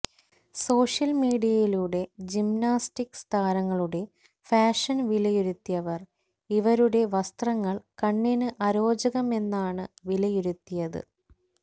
social മീഡിയയിലൂടെ gymnastics താരങ്ങളുടെ fashion വിലയിരുത്തിയവർ ഇവരുടെ വസ്ത്രങ്ങൾ കണ്ണിന് അരോചകമെന്നാണ് വിലയിരുത്തിയത്